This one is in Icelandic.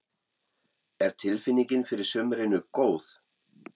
Er tilfinningin fyrir sumrinu góð?